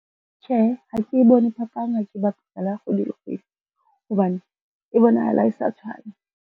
Tjhe, ha ke bone phapang ha ke bapisa le ya kgwedi le kgwedi, hobane e bonahala e sa tshwana.